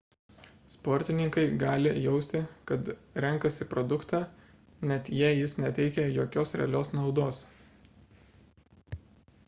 sportininkai gali jausti kad renkasi produktą net jei jis neteikia jokios realios naudos